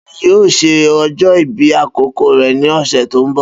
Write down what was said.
Bay yóò ṣe ọjọ́ ìbí àkọ́kọ́ rẹ̀ ní ọ̀sẹ̀ tó ń bọ̀.